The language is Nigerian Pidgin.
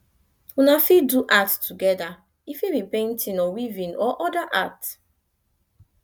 una fit do art together e fit be painting or weaving or oda art